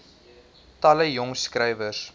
talle jong skrywers